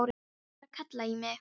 Mamma er að kalla í mig.